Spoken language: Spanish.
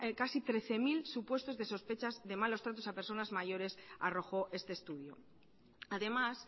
casi trece mil supuestos de sospechas de malos tratos a personas mayores arrojó este estudio además